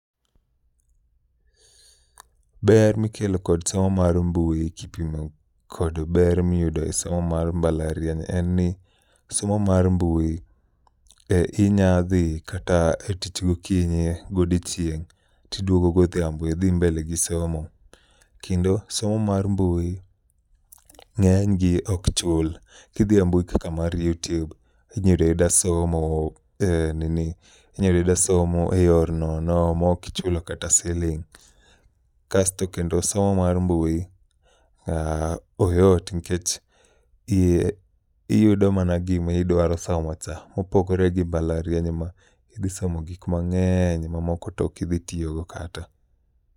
Ber mikelo kod somo mar mbui kipimo kod ber miyudo e somo mar mbalariany en ni somo mar mbui e inya dhi kata e tich gokinyi, godiochieng' tiduogo goshiambo idhi mbele gi somo. Kendo somo mar mbui ng'eny gi ok chul, kidhi e mbui kaka mar YouTube, inya yuda yuda somo e nini, inya yuda yuda somo e yor nono mokichulo kata siling'. Kasto kendo somo mar mbui, ah, oyot nkech i iyudo mana gimidwaro somo cha. Mopogore gi mbalariany ma idhi somo gik mang'eny ma moko tokidhi tiyogo kata.